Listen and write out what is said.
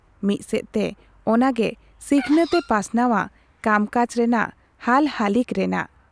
ᱢᱤᱫ ᱥᱮᱫ ᱛᱮ ᱚᱱᱟ ᱜᱮ ᱥᱤᱠᱷᱱᱟᱹᱛ ᱮ ᱯᱟᱥᱱᱟᱣᱟ ᱠᱟᱢᱠᱟᱡᱽ ᱨᱮᱱᱟᱜ ᱦᱟᱞᱦᱟᱹᱞᱤᱠ ᱨᱮᱱᱟᱜ ᱾